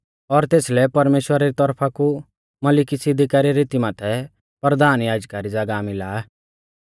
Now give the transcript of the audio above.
और तेसलै परमेश्‍वरा री तौरफा कु मलिकिसिदका री रीती माथै परधान याजका री ज़ागाह मिला